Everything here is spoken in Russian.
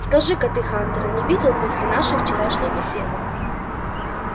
скажи-ка ты хантера не видел после нашей вчерашней беседы